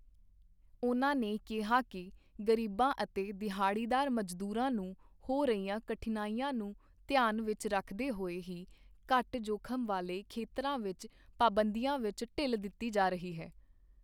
ਉਨ੍ਹਾਂ ਨੇ ਕਿਹਾ ਕਿ ਗ਼ਰੀਬਾਂ ਅਤੇ ਦਿਹਾੜੀਦਾਰ ਮਜ਼ਦੂਰਾਂ ਨੂੰ ਹੋ ਰਹੀਆਂ ਕਠਿਨਾਈਆਂ ਨੂੰ ਧਿਆਨ ਵਿੱਚ ਰੱਖਦੇ ਹੋਏ ਹੀ ਘੱਟ ਜੋਖ਼ਮ ਵਾਲੇ ਖੇਤਰਾਂ ਵਿੱਚ ਪਾਬੰਦੀਆਂ ਵਿੱਚ ਢਿੱਲ ਦਿੱਤੀ ਜਾ ਰਹੀ ਹੈ।